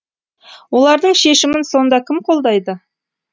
олардың шешімін сонда кім қолдайды